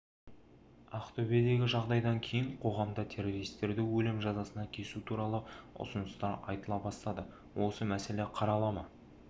ақтөбедегі жағдайдан кейін қоғамда террористерді өлім жазасына кесу туралы ұсыныстар айтыла бастады осы мәселе қарала ма